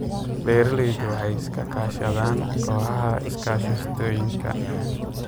Beeraleydu waxay iska kaashadaan kooxaha iskaashatooyinka.